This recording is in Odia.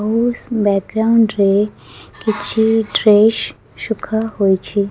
ବାକଗ୍ରୁଣ୍ଡ ରେ କିଛି ଡ୍ରେସ୍ ସୁଖା ହୋଇଛି।